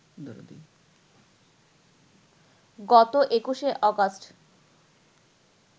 গত ২১শে অগাস্ট